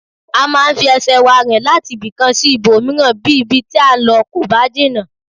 A máa ń fi ẹsẹ̀ wa rìn láti ibìkan sí ibòmíràn bí ibi tí à ń lọ kò bá jìnnà